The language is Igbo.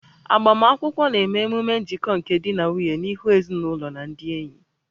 Agbamakwụkwọ na-eme ememe njikọ nke di na nwunye n'ihu ezinụlọ na ndị enyi